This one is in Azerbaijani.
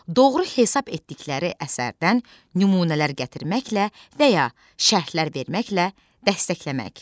Doğru hesab etdikləri əsərdən nümunələr gətirməklə və ya şərhlər verməklə dəstəkləmək.